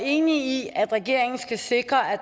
enig i at regeringen skal sikre at